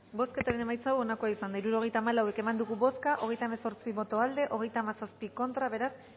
bozketaren emaitza onako izan da hirurogeita hamabost eman dugu bozka hogeita hemezortzi boto aldekoa treinta y siete contra beraz